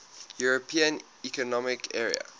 european economic area